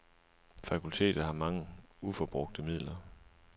Fakultetet har mange uforbrugte midler.